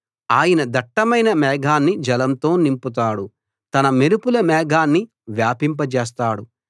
ఆయన దట్టమైన మేఘాన్ని జలంతో నింపుతాడు తన మెరుపుల మేఘాన్ని వ్యాపింపజేస్తాడు